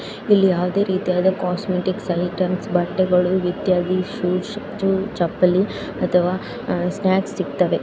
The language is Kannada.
ಇಲ್ಲಿ ಯಾವುದೇ ರೀತಿಯಾದ ಕಾಸ್ಮೆಟಿಕ್ಸ್ ಐಟೆಮ್ಸ ಬಟ್ಟೆಗಳು ಇತ್ಯಾದಿ ಶೂಸ್ ಚಪಲ್ಲಿ ಅಥವಾ ಸ್ನಾಕ್ಸ್ ಸಿಕ್ತವೆ.